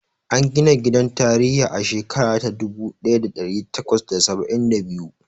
An gina gidan tarihi a shekara ta dubu ɗaya da ɗari takwas da saba'in da biyu.